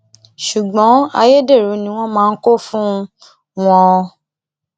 ṣùgbọn ayédèrú ni wọn máa kó fún um wọn